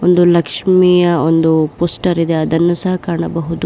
ಒಂದು ಲಕ್ಷ್ಮಿಯ ಒಂದು ಪೋಸ್ಟರ್ ಇದೆ ಅದನ್ನು ಸಹ ಕಾಣಬಹುದು.